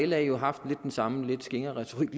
la jo haft den samme lidt skingre retorik